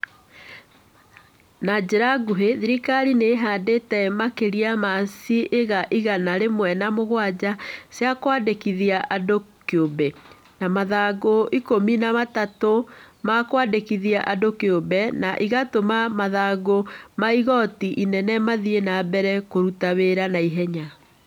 Na njĩra nguhĩ, thirikari nĩ ĩhandĩte makĩria ma ciĩga igana rĩmwe na mũgwanja cia kwandĩkithia andũ kĩũmbe, na mathangũ ikũmi na matatũ ma kwandĩkithia andũ kĩũmbe, na ĩgatũma mathangũ ma igooti inene mathiĩ na mbere kũruta wĩra na ihenya.